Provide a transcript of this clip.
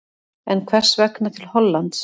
En hvers vegna til Hollands?